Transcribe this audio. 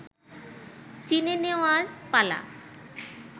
চিনে-নেওয়ার পালা